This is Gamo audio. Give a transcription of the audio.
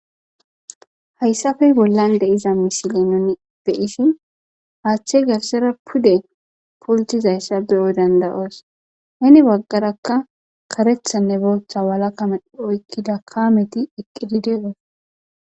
hayssafey bollan de7iza misile nuni beyisi haachche garsera pude pultizayssa beyo dandayoos heni baggarakka karethanne booththa walakamedh oykkida kaameti eqqidide oos